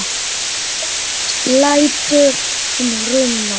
Hátt lætur í Hruna